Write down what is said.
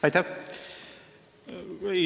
Aitäh!